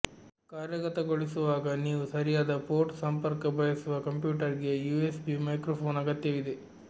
ಕಾರ್ಯಗತಗೊಳಿಸುವಾಗ ನೀವು ಸರಿಯಾದ ಪೋರ್ಟ್ ಸಂಪರ್ಕ ಬಯಸುವ ಕಂಪ್ಯೂಟರ್ಗೆ ಯುಎಸ್ಬಿ ಮೈಕ್ರೊಫೋನ್ ಅಗತ್ಯವಿದೆ